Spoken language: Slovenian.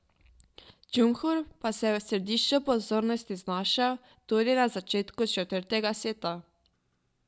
Džumhur pa se je v središču pozornosti znašel tudi na začetku četrtega seta.